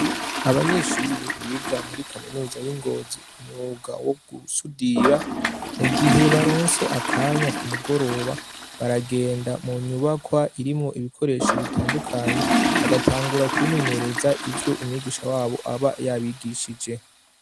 Abanyeshuri biga muri kaminuza y' i Ngozi umwuga wo gusudira, mu gihe baronse akanya ku mugoroba baragenda mu nyubakwa irimwo ibikoresho bitandukanye, bagatangura kwimenyereza ivyo umwigisha wabo aba yabigishije.